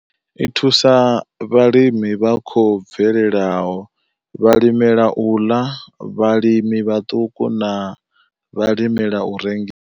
I thusa vhalimi vha khou bvelelaho, vhalimela u ḽa, vhalimi vhaṱuku na vhalimela u rengisa.